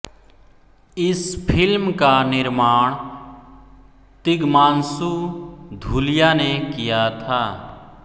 इस फ़िल्म का निर्माण तिग्मांशू धूलिया ने किया था